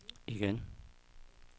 igen